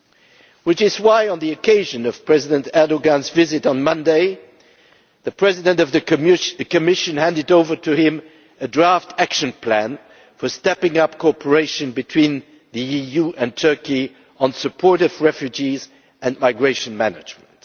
That is why, on the occasion of President Erdoğan's visit on Monday, the President of the Commission handed over to him a draft action plan for stepping up cooperation between the EU and Turkey on support for refugees and migration management.